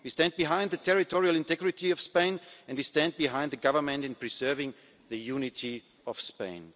of Spain. We stand behind the territorial integrity of Spain and we stand behind the Government in preserving the unity